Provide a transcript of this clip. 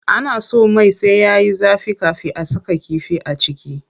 Ana so mai sai yayi zafi kafin a saka kifi a ciki.